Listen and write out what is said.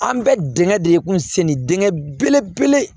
An bɛ dingɛ de kunsɛnin dingɛ belebele